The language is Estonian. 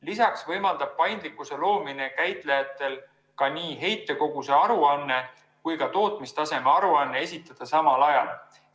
Lisaks võimaldab paindlikkuse loomine käitajatel nii heitkoguse aruanne kui ka tootmistaseme aruanne esitada samal ajal.